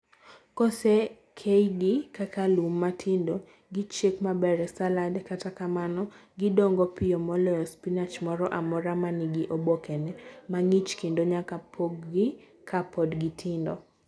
Kosekeygi kaka lum matindo, gichiek maber e salad, kata kamano, gidongo piyo moloyo spinach moro amora ma nigi obokene mang'ich kendo nyaka chopgi ka pod gitindo